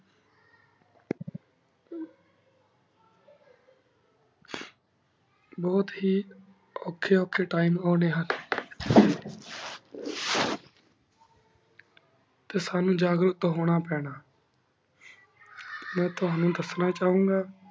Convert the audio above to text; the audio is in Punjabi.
ਬੁਹਤ ਹੀ ਉਖੀ ਉਖੀ time ਉਨੀਂ ਹੁਣ ਟੀ ਸਾਨੂ ਜਗਹ ਰਤ ਹੁਣ ਪਾਨਾ ਮੈਂ ਤੁਵਾਨੁ ਦਸਣਾ ਚਾਹੁਣ ਘ